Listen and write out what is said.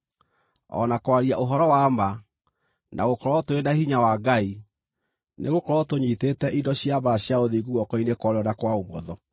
o na kwaria ũhoro wa ma, na gũkorwo tũrĩ na hinya wa Ngai; nĩgũkorwo tũnyiitĩte indo cia mbaara cia ũthingu guoko-inĩ kwa ũrĩo na kwa ũmotho;